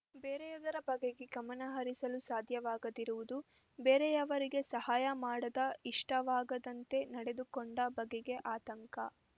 ಬೇರೆಯದರ ಬಗೆಗೆ ಗಮನ ಹರಿಸಲು ಸಾಧ್ಯವಾಗದಿರುವುದು ಬೇರೆಯವರಿಗೆ ಸಹಾಯ ಮಾಡದ ಇಷ್ಟವಾಗದಂತೆ ನಡೆದುಕೊಂಡ ಬಗೆಗೆ ಆತಂಕ